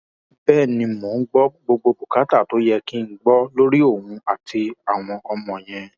bẹẹ ni mò ń gbọ gbogbo bùkátà tó yẹ kí n gbọ lórí òun àtàwọn ọmọ yẹn